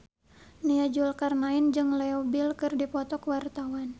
Nia Zulkarnaen jeung Leo Bill keur dipoto ku wartawan